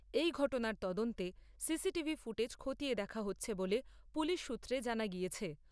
এই ঘটনার তদন্তে সিসিটিভি ফুটেজ খতিয়ে দেখা হচ্ছে বলে পুলিশ সূত্রে জানা গিয়েছে।